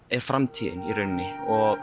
framtíðin í rauninni